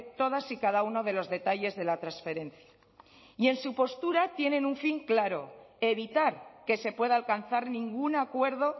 todas y cada uno de los detalles de la transferencia y en su postura tienen un fin claro evitar que se pueda alcanzar ningún acuerdo